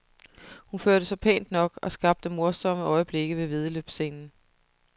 Hun førte sig pænt nok og skabte morsomme øjeblikke ved væddeløbsscenen.